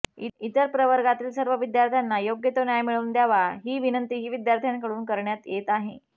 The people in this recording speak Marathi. इतर प्रवर्गातील सर्व विद्यार्थ्यांना योग्य तो न्याय मिळवून द्यावा ही विनंतीही विद्यार्थ्यांकडून करण्यात येत आहे